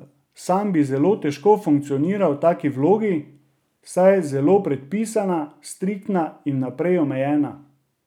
Sam bi zelo težko funkcioniral v taki vlogi, saj je zelo predpisana, striktna in vnaprej omejena.